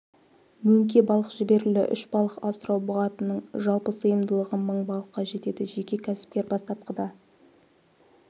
мөңке балық жіберілді үш балық асырау бұғатының жалпы сыйымдылығы мың балыққа жетеді жеке кәсіпкер бастапқыда